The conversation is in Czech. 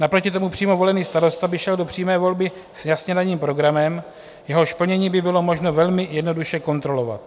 Naproti tomu přímo volený starosta by šel do přímé volby s jasně daným programem, jehož plnění by bylo možno velmi jednoduše kontrolovat.